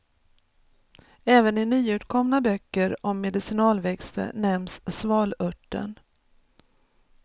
Även i nyutkomna böcker om medicinalväxter nämns svalörten.